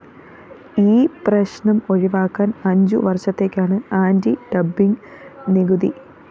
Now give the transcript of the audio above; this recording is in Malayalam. ഈ പ്രശ്‌നം ഒഴിവാക്കാന്‍ അഞ്ചു വര്‍ഷത്തേക്കാണ് ആന്റി ഡംപിങ്‌ നികുതി